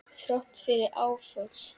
Þrátt fyrir áföll.